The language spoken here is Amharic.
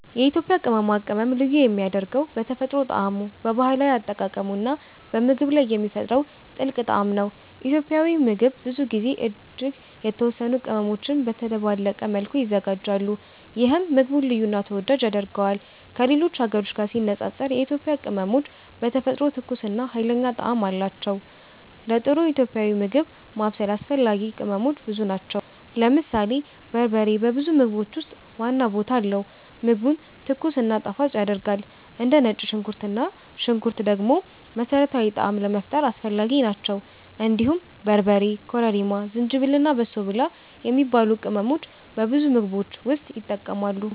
የኢትዮጵያ ቅመማ ቅመም ልዩ የሚያደርገው በተፈጥሮ ጣዕሙ፣ በባህላዊ አጠቃቀሙ እና በምግብ ላይ የሚፈጥረው ጥልቅ ጣዕም ነው። ኢትዮጵያዊ ምግብ ብዙ ጊዜ እጅግ የተወሰኑ ቅመሞች በተደባለቀ መልኩ ይዘጋጃሉ፣ ይህም ምግቡን ልዩ እና ተወዳጅ ያደርገዋል። ከሌሎች ሀገሮች ጋር ሲነጻጸር የኢትዮጵያ ቅመሞች በተፈጥሮ ትኩስ እና ኃይለኛ ጣዕም አላቸው። ለጥሩ ኢትዮጵያዊ ምግብ ማብሰል አስፈላጊ ቅመሞች ብዙ ናቸው። ለምሳሌ በርበሬ በብዙ ምግቦች ውስጥ ዋና ቦታ አለው፣ ምግቡን ትኩስ እና ጣፋጭ ያደርጋል። እንደ ነጭ ሽንኩርት እና ሽንኩርት ደግሞ መሠረታዊ ጣዕም ለመፍጠር አስፈላጊ ናቸው። እንዲሁም በርበሬ፣ ኮረሪማ፣ ዝንጅብል እና በሶ ብላ የሚባሉ ቅመሞች በብዙ ምግቦች ውስጥ ይጠቀማሉ።